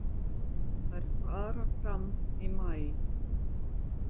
Þær fara fram í maí.